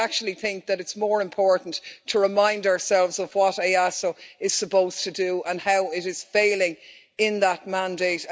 However, I actually think that it's more important to remind ourselves of what EASO is supposed to do and how it is failing in that mandate.